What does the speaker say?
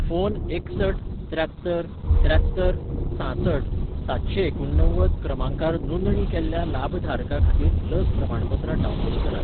Phone एकसठ त्र्यात्तर त्र्यात्तर सांसठ सातशेंएकुण णव्वद क्रमांकार नोंदणी केल्ल्या लाभधारका खातीर लस प्रमाणपत्रां डावनलोड करात.